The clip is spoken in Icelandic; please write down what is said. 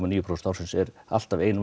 níu prósent árs er alltaf ein